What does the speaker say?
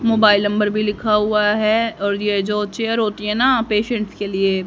mobile number भी लिखा हुआ है और यह जो चेयर होती है ना पेशेंट के लिए--